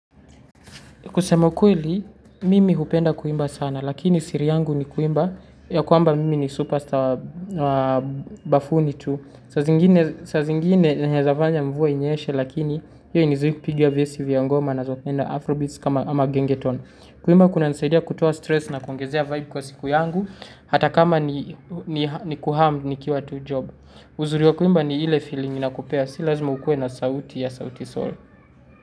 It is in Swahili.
Kusema kweli, mimi hupenda kuimba sana, lakini siri yangu ni kuimba, ya kwamba mimi ni superstar bafuni tu. Saa zingine, zinaweza fanya mvua inyeshe, lakini, hiyo hainizui kupiga vesi vya ngoma nazopenda afrobeats kama gengetone. Kuimba kuna nisaidia kutoa stress na kuongezea vibe kwa siku yangu, hata kama ni kuham ni kiwa tu job. Uzuri wa kuimba ni ile feeling inakupea, si lazima ukue na sauti ya sautisol.